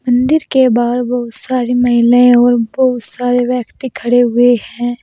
मंदिर के बाहर बहुत सारी महिलाएं और बहुत सारे व्यक्ति खड़े हुए हैं।